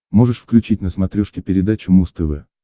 можешь включить на смотрешке передачу муз тв